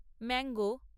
mango